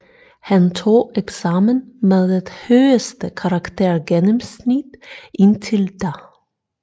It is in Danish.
Han tog eksamen med det højeste karaktergennemsnit indtil da